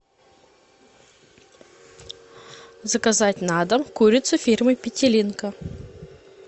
заказать на дом курицу фирмы петелинка